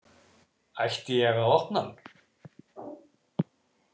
Ætti ég að opna hann?